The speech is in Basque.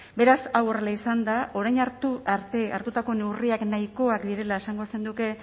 beraz hau horrela izanda orain arte hartutako neurriak nahikoak direla esango zenuke